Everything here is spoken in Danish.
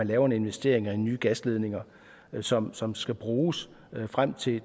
lave en investering i nye gasledninger som som skal bruges frem til